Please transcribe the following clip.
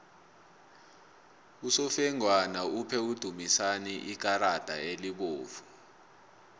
usofengwana uphe udumisani ikarada elibovu